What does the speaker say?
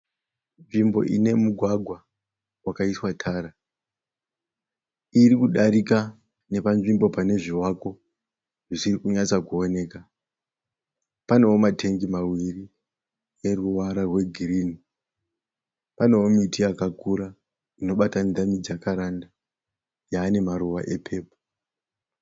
Nzvimbo ine mugwagwa wakaiswa tara iri kudarika nepanzvimbo pane zvivakwa zvisiri kunyatsokuoneka. Panewo ma tengi maviri aneruvara rwe girinhi. Panewo miti yakakura Inoratidza se mijakaranda yaane maruva e pepuru.